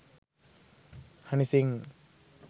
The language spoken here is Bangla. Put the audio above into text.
হানি সিং